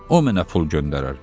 O mənə pul göndərər.